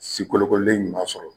Si kolokoolen ɲuman sɔrɔ